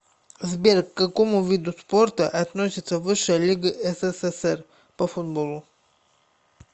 сбер к какому виду спорта относится высшая лига ссср по футболу